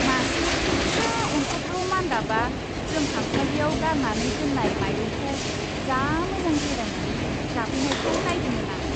मासे फिसा अनथावथाव मान्दाबआ जों खामसालियाव गारनानै दोन्नाय माइरंखौ जा मोजां जिरायनानै जाफैनायखौ नायदोंमोन आं।